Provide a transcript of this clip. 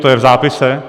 To je v zápise.